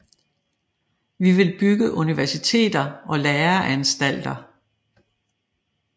Vi vil bygge universiteter og læreanstalter